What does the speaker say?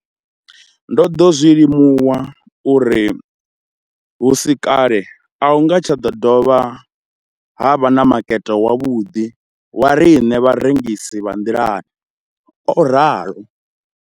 Ndo ḓo zwi limuwa uri hu si kale a hu nga tsha ḓo vha na makete wavhuḓi wa riṋe vharengisi vha nḓilani, o ralo.